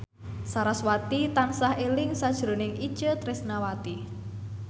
sarasvati tansah eling sakjroning Itje Tresnawati